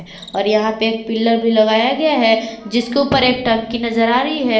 और यहां पे एक पिलर भी लगाया गया है जिसके ऊपर एक टंकी नजर आ रही है।